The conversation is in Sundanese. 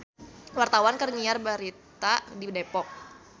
Wartawan keur nyiar berita di Depok